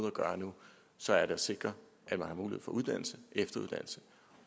at gøre nu så er det at sikre at man har mulighed for uddannelse og efteruddannelse